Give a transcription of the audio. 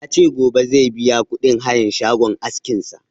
Ya ce gobe zai biya kuɗin hayan shagon askin sa